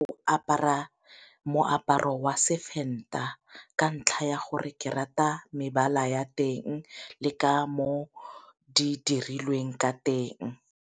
O apara moaparo wa seVenda ka ntlha ya gore ke rata mebala ya teng le ka mo di dirilweng ka teng.